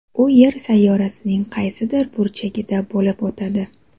U Yer sayyorasining qaysidir burchagida bo‘lib o‘tadi.